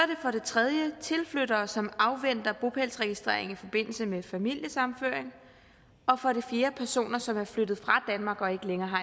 for det tredje tilflyttere som afventer bopælsregistrering i forbindelse med familiesammenføring og for det fjerde personer som er flyttet fra danmark og ikke længere